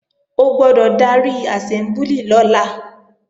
O gbọ́dọ̀ darí àsẹ́mbúlì lọ́la!